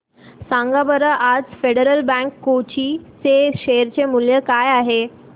सांगा बरं आज फेडरल बँक कोची चे शेअर चे मूल्य किती आहे